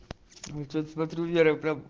смотрю вера